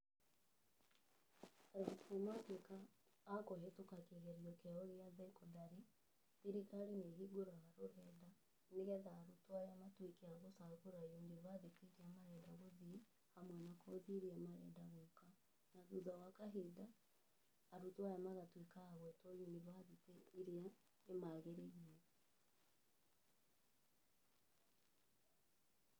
Arutwo matuĩka a kũhĩtũka kĩgerio kĩao gĩa cekondarĩ, thirikari nĩ ĩhingũraga rũrenda, nĩgetha arutwo aya matuĩke a gũcagũra yunibathĩtĩ irĩa marenda gũthiĩ, hamwe na kothi irĩa marenda gwĩka na thutha wa kahinda, arutwo aya magatuĩka a gwĩtwo yunibathĩtĩ irĩa imagĩrĩire.